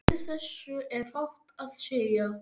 Við þessu er fátt að segja.